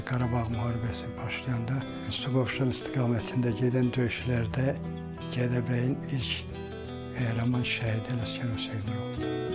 İkinci Qarabağ müharibəsi başlayanda Solovşan istiqamətində gedən döyüşlərdə Gədəbəyin ilk qəhrəman şəhidi Ələsgərov Seymur oldu.